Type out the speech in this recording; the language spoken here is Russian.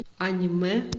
аниме